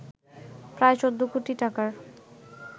প্রায় ১৪ কোটি টাকার